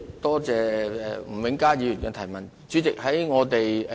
多謝吳永嘉議員提出的補充質詢。